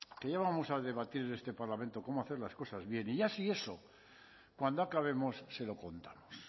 que ya vamos a debatir en este parlamento cómo hacer las cosas bien y ya si eso cuando acabemos se lo contamos